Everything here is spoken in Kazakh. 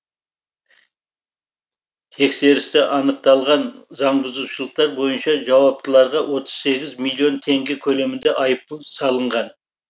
тексерісті анықталған заңбұзушылықтар бойынша жауаптыларға отыз сегіз миллион теңге көлемінде айыппұл салынған